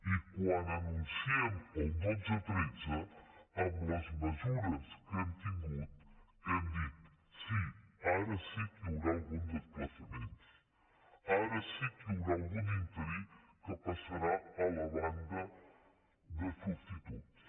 i quan anunciem el dotze tretze amb les mesures que hem tingut diem sí ara sí que hi haurà algun desplaçament ara sí que hi haurà algun interí que passarà a la banda de substituts